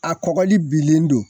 A kɔgɔli bilen don